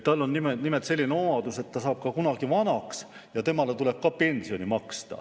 Tal on nimelt selline omadus, et ta saab ka kunagi vanaks ja temale tuleb ka pensioni maksta.